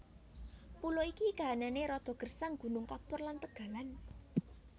Pulo iki kahanané rada gersang gunung kapur lan tegalan